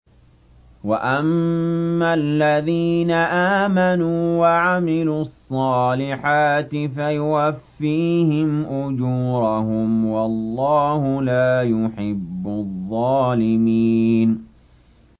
وَأَمَّا الَّذِينَ آمَنُوا وَعَمِلُوا الصَّالِحَاتِ فَيُوَفِّيهِمْ أُجُورَهُمْ ۗ وَاللَّهُ لَا يُحِبُّ الظَّالِمِينَ